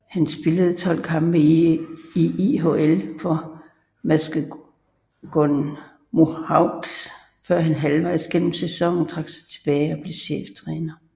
Han spillede 12 kampe i IHL for Muskegon Mohawks før han halvvejs gennem sæsonen trak sig tilbage og blev cheftræner